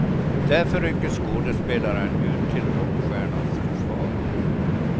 Därför rycker skådespelaren ut till rockstjärnans försvar.